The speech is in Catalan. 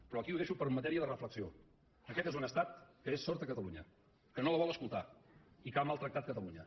però aquí ho deixo per matèria de reflexió aquest és un estat que és sord a catalunya que no la vol escoltar i que ha maltractat catalunya